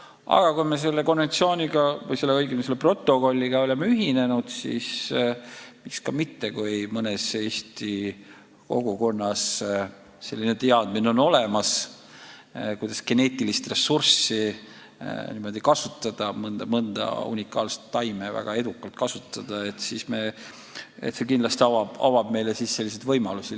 Aga kui me selle konventsiooniga või õigemini selle protokolliga oleme ühinenud, siis miks ka mitte – kui mõnes Eesti kogukonnas on olemas teadmine, kuidas geneetilist ressurssi niimoodi kasutada, mõnda unikaalset taime väga edukalt kasutada, siis see kindlasti avab meile selliseid võimalusi.